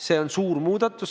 See on suur muudatus.